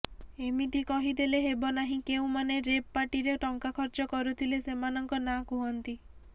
ଏମିତି କହି ଦେଲେ ହେବ ନାହିଁ କେଉଁମାନେ ରେଭ୍ ପାର୍ଟିରେ ଟଙ୍କା ଖର୍ଚ୍ଚ କରୁଥିଲେ ସେମାନଙ୍କ ନାଁ କୁହନ୍ତି